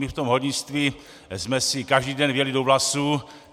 My v tom hornictví jsme si každý den vjeli do vlasů.